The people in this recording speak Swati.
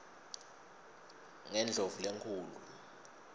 kundlovulenkhulu